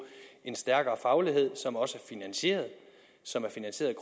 en stærkere faglighed som også er finansieret som er finansieret